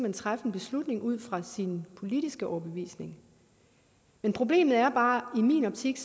og træffe en beslutning ud fra sin politiske overbevisning men problemet er bare i min optik